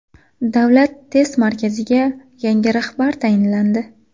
Davlat test markaziga yangi rahbar tayinlandi.